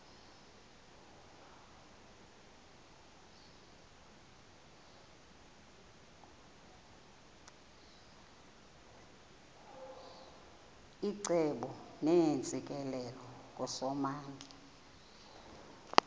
icebo neentsikelelo kusomandla